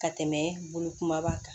Ka tɛmɛ bolo kumaba kan